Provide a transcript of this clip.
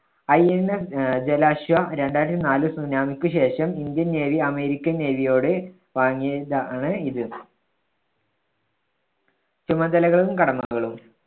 INS ആഹ് ജലാശ്വ രണ്ടായിരത്തി നാലിൽ tsunami ക്ക് ശേഷം ഇന്ത്യൻ നേവി അമേരിക്കൻ നേവിയോട് വാങ്ങിയതാണ് ഇത്. ചുമതലകളും കടമകളും